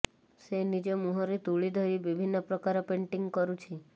ସେ ନିଜ ମୁହଁରେ ତୁଳି ଧରି ବିଭିନ୍ନ ପ୍ରକାର ପେଣ୍ଟିଂ କରୁଛି